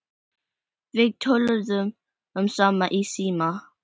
Við töluðum saman í síma.